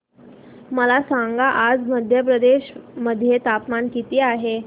मला सांगा आज मध्य प्रदेश मध्ये तापमान किती आहे